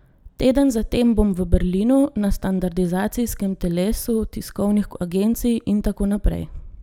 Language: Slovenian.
Teden za tem bom v Berlinu na standardizacijskem telesu tiskovnih agencij, in tako naprej.